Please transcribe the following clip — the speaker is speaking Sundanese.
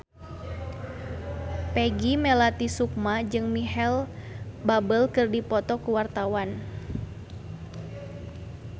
Peggy Melati Sukma jeung Micheal Bubble keur dipoto ku wartawan